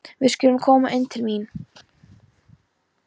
Við skulum koma inn til mín